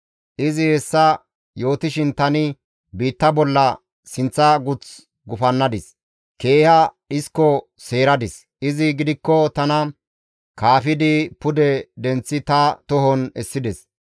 Izi hessa yootishin tani biitta bolla sinththa guth gufannadis; keeha dhisko seeradis; izi gidikko tana kaafidi pude denththi ta tohon essides.